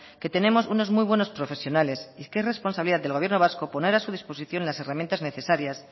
que tenemos unos muy buenos profesionales y que es responsabilidad del gobierno vasco poner a su disposición las herramientas necesarias